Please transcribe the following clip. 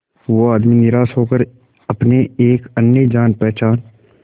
वो आदमी निराश होकर अपने एक अन्य जान पहचान